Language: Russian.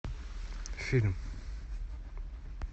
фильм